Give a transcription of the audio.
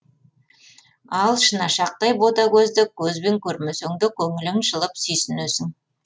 ал шынашақтай бөтагөзді көзбен көрмесеңде көңілің жылып сүйсінесің